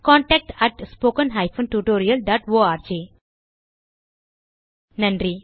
contact at spoken hyphen tutorial dot org நன்றி